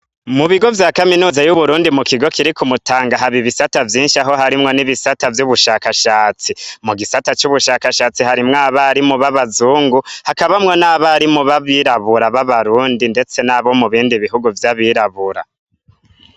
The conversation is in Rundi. Mubigo vya kaminuza y'Uburundi mukigo kiri kumutanga haba ibisata vyinshi aho harimwo n'ibisata vy'ubushakashatsi. Mugisata c'ubushakashatsi harimwo abarimu b'abazungu, hakabamwo n'abarimu b'abirabura b'abarundi ndetse nabo mubindi bihugu vy'abirabura.